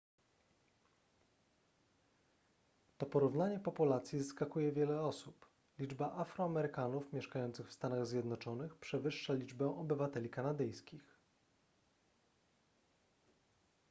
to porównanie populacji zaskakuje wiele osób liczba afroamerykanów mieszkających w stanach zjednoczonych przewyższa liczbę obywateli kanadyjskich